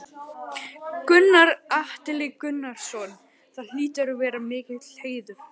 Gunnar Atli Gunnarsson: Það hlýtur að vera mikill heiður?